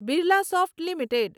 Birlasoft limited